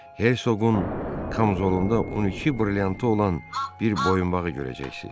Herzoqun kamzolunda 12 brilliantı olan bir boyunbağı görəcəksiz.